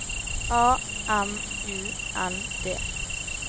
A M U N D